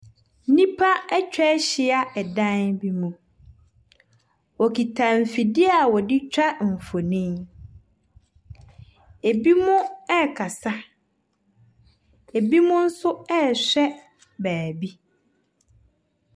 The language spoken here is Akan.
Nnipa atwa ahyia ɛdan bi mu. Wɔkita mfidie a wɔde twa mfonin. Binom rekasa. Binom nso rehwɛ baabi.